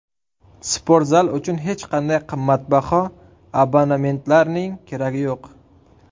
Sportzal uchun hech qanday qimmatbaho abonementlarning keragi yo‘q.